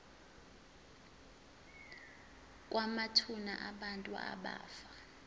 kwamathuna abantu abafa